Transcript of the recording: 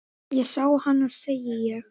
Ég sá hana, segi ég.